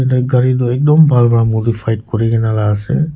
black gari tu ekdam bhal pra monofied kure ke na la ase.